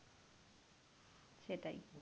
সেটাই